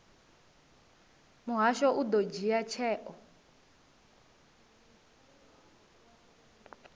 muhasho u ḓo dzhia tsheo